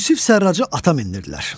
Yusif Sərracı ata mindirdilər.